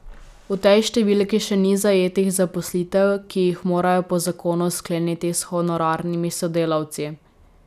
V tej številki še ni zajetih zaposlitev, ki jih morajo po zakonu skleniti s honorarnimi sodelavci.